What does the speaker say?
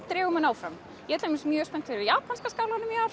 dregur mann áfram ég er mjög spennt fyrir japanska skálanum